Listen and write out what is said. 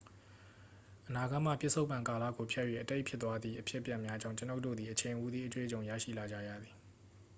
အနာဂတ်မှ ပစ္စုပ္ပန်ကာလကိုဖြတ်၍ အတိတ်ဖြစ်သွားသည့် အဖြစ်အပျက်များကြောင့် ကျွန်တော်တို့သည် အချိန်ဟူသည့် အတွေ့အကြုံရရှိလာကြရသည်